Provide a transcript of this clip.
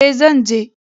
E, zan je